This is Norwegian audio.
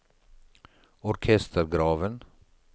orkestergraven